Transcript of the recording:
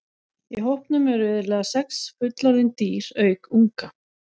Í hópnum eru iðulega sex fullorðin dýr auk unga.